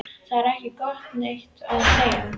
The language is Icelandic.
Það er ekki um neitt að semja